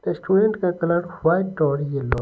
restaurant का colour white और yellow --